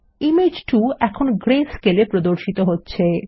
image 2 এখন greyscaleএ প্রদর্শিত হচ্ছে